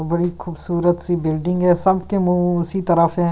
बड़ी खूबसूरत सी बिल्डिंग है समथिंग मुंह उसी तरफ है।